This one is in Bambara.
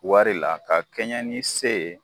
Wari la ka kɛɲɛ ni se ye.